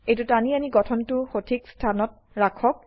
এইটো টানি আনি গঠনটো সঠিক স্থানত ৰাখক